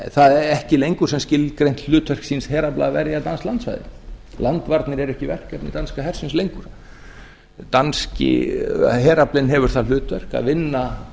það ekki lengur sem skilgreint hlutverk síns herafla að verja danskt landsvæði landvarnir eru ekki verkefni danska hersins lengur danski heraflinn hefur það hlutverk að vinna